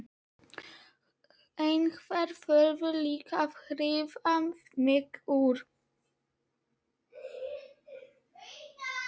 Einhver þurfti líka að hirða mig úr